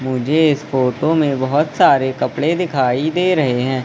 मुझे इस फोटो में बहुत सारे कपड़े दिखाई दे रहे हैं।